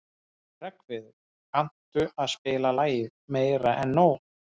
Hreggviður, kanntu að spila lagið „Meira En Nóg“?